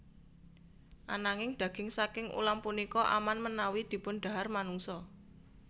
Ananging daging saking ulam punika aman menawi dipundhahar manungsa